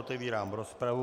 Otevírám rozpravu.